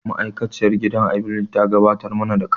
Ma'aikaciyar gidan abincin ta gabatar mana da kanta.